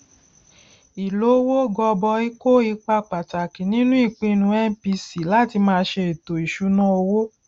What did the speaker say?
ìlówó gọbọi kó ipa pàtàkì nínú ìpinnu mpc láti máa ṣe ètò ìṣúnná owó